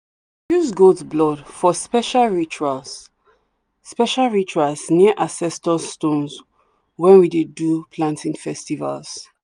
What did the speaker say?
dey use goat blood for special rituals special rituals near ancestor stones when we dey do planting festivals.